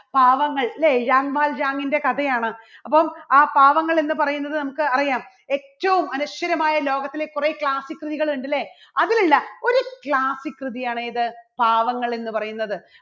പാവങ്ങൾ ഇല്ലേ കഥയാണ് അപ്പൊ ആ പാവങ്ങൾ എന്ന് പറയുന്നത് നമുക്ക് അറിയാം ഏറ്റവും അനശ്വരമായ ലോകത്തിലെ കുറേ classic കൃതികൾ ഉണ്ട്, അല്ലേ? അതിലുള്ള ഒരു classic കൃതിയാണ് ഏത്? പാവങ്ങൾ എന്ന് പറയുന്നത്.